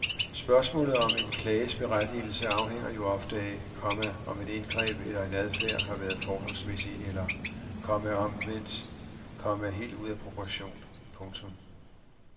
Spørgsmålet om en klages berettigelse afhænger jo ofte af, komma om et indgreb eller en adfærd har været forholdsmæssigt eller, komma omvendt, komma helt ude af proportion. punktum